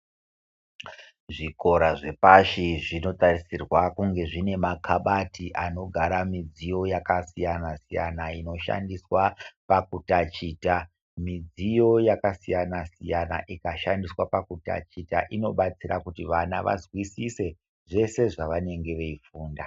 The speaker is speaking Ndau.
Zvikora zvepashi zvinotarisirwa kunge zvine makabati anogara mudziyo yakasiyana siyana inoshandiswa pakutachita mudziyo yakasiyana siyana ikashandiswa pakutachita inobatsira kuti vana vazwisise zvese zvavanenge veifunda.